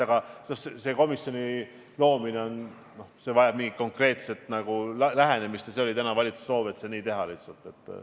Aga selle komisjoni loomine vajas mingisugust konkreetset lähenemist ja see oli täna valitsuse soov, et teha see lihtsalt nii.